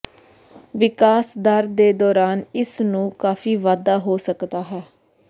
ਵਿਕਾਸ ਦਰ ਦੇ ਦੌਰਾਨ ਇਸ ਨੂੰ ਕਾਫ਼ੀ ਵਾਧਾ ਹੋ ਸਕਦਾ ਹੈ